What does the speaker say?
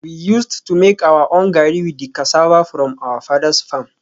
We used to make our own gari with the cassava from my father's farm